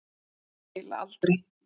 Ég trúi því eiginlega aldrei.